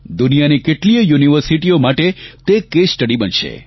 દુનિયાની કેટલીયે યુનિવર્સિટીઓ માટે તે કેસ સ્ટડી બનશે